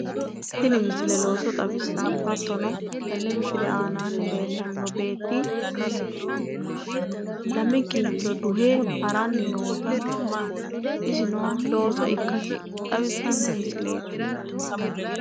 Tini misile looso xawissanno. hattono tenne misile aanaanni leellanno beetti lame kincho duhe haranni noota isino looso ikkasi xawissanno misileeti